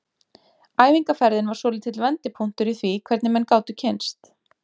Æfingaferðin var svolítill vendipunktur í því hvernig menn gátu kynnst.